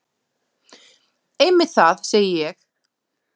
Einmitt það, segi ég.